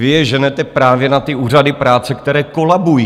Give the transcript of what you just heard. Vy je ženete právě na ty úřady práce, které kolabují.